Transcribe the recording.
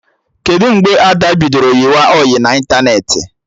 Kedụ mgbe Ada bidoro yịba ọyị na ịntanetị?